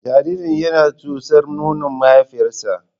Jaririn yana tsotsar nonon mahaifiyarsa.